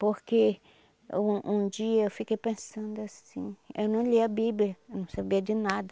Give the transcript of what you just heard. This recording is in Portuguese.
Porque um um dia eu fiquei pensando assim, eu não lia a Bíblia, eu não sabia de nada.